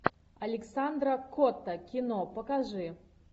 александра котта кино покажи